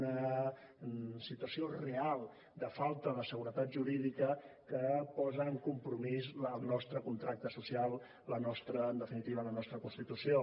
una situació real de falta de seguretat jurídica que posa en compromís el nostre contracte social la nostra en definitiva la nostra constitució